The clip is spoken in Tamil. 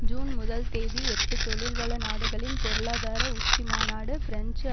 ஜூன் முதல் தேதி எட்டு தொழில்வள நாடுகளின் பொருளாதார உச்சிமாநாடு பிரெஞ்சு